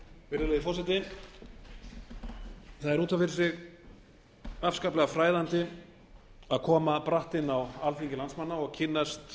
virðulegi forseti það er út af fyrir sig afskaplega fræðandi að koma bratt inn á alþingi landsmanna og kynnast